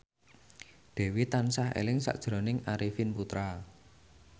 Dewi tansah eling sakjroning Arifin Putra